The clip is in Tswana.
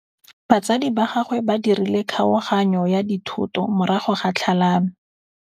Batsadi ba gagwe ba dirile kgaoganyô ya dithoto morago ga tlhalanô.